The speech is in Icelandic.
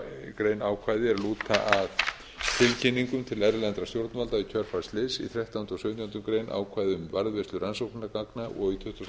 grein ákvæði er lúta að tilkynningum til erlendra stjórnvalda í kjölfar slyss í þrettánda og sautjándu grein ákvæði um varðveislu rannsóknargagna og í